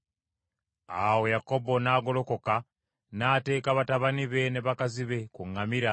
Awo Yakobo n’agolokoka, n’ateeka batabani be ne bakazi be ku ŋŋamira;